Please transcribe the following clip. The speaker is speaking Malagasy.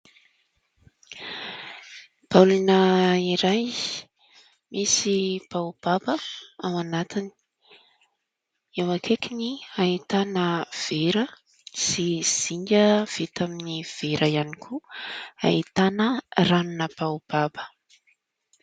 Baolina iray misy baobaba ao anatiny. Eo ankaikiny ahitana vera sy zinga vita amin'ny vera ihany koa, ahitana ranona baobaba.